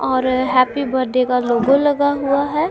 और happy birthday का logo लगा हुआ हैं।